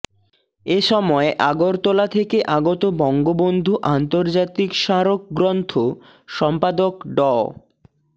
এ সময় আগরতলা থেকে আগত বঙ্গবন্ধু আন্তর্জাতিক স্মারক গ্রন্থ সম্পাদক ড